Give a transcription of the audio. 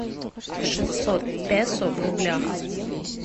шестьсот песо в рублях